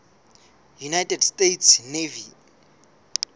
united states navy